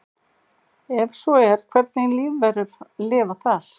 Ef svo er hvernig lífverur lifa þar?